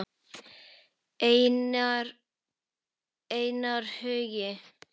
Einar Hugi.